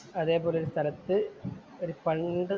അതേപോലെ ഒരു സ്ഥലത്ത് ഒരു പണ്ട്